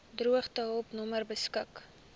droogtehulp nommer beskik